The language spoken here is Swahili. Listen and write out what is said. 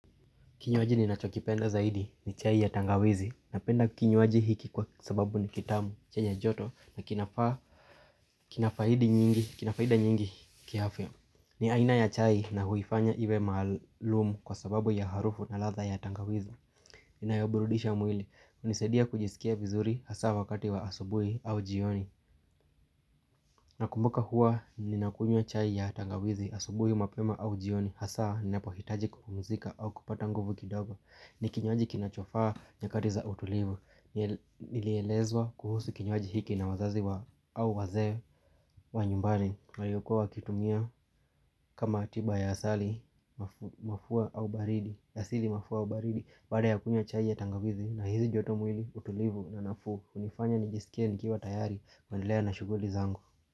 Kinywaji ninachokipenda zaidi ni chai ya tangawizi napenda kinywaji hiki kwa sababu ni kitamu chenye joto na kina faa kina faidi nyingi kiafya ni aina ya chai na huifanya iwe maalumu kwa sababu ya harufu na ladha ya tangawizi Ninayoburudisha mwili hunisaidia kujisikia vizuri hasa wakati wa asubuhi au jioni na kumbuka hua ninakunywa chai ya tangawizi asubuhi mapema au jioni hasa ninapohitaji kupumzika au kupata nguvu kidogo ni kinywaji kinachofaa nyakati za utulivu Nilielezwa kuhusu kinywaji hiki na wazazi wa au wazee wa nyumbani waliokuwa wakitumia kama tiba ya asali mafua au baridi Yasili mafua au baridi baada ya kunywa chai ya tangawizi na hisi joto mwili utulivu na nafuu hunifanya nijisikie nikiwa tayari kuendelea na shughuli zangu.